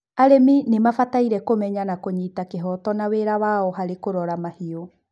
arĩmi nimabataire kũmenya na kũnyita kĩhoto na wĩra wao harĩ kũrora mahiũ